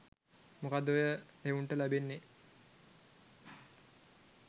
මොකක්ද ඔය එවුන්ට ලැබෙන්නේ.